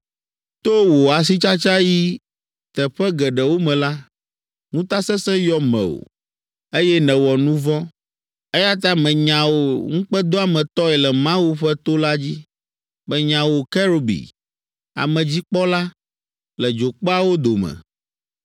To wò asitsatsa yi teƒe geɖewo me la, ŋutasesẽ yɔ mewò, eye nèwɔ nu vɔ̃. Eya ta menya wò ŋukpedoametɔe le Mawu ƒe to la dzi; menya wò kerubi, amedzikpɔla, le dzokpeawo dome.